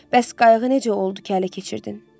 Bəs qayığı necə oldu ki, hələ keçirdin?